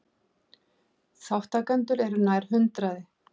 Þátttakendur eru nær hundraði